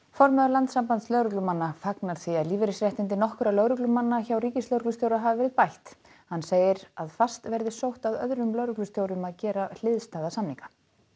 formaður Landssambands lögreglumanna fagnar því að lífeyrisréttindi nokkurra lögreglumanna hjá ríkislögreglustjóra hafi verið bætt hann segir fast verði sótt að öðrum lögreglustjórum að gera hliðstæða samninga